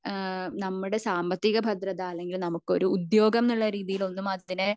ഏഹ്ഹ് നമ്മുടെ സാമ്പത്തിക ഭദ്രത അല്ലെങ്കിൽ നമുക്കൊരു ഉദ്യോഗം എന്ന രീതിയിലൊന്നും അതിനെ